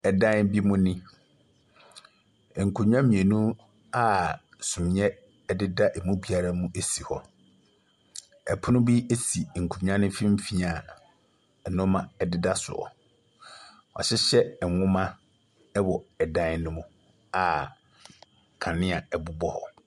Dan bi mu ni. Nkonnwa mmienu a sumiiɛ deda mu biara mu si hɔ. Pono bi si nkonnwa no mfimfini a nneɛma deda so. Wɔahyehyɛ nwoma wɔ dan no mu a kanea bobɔ hɔ.